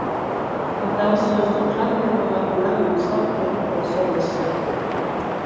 аталы сөздің қандай болатынына мысал керек болса осы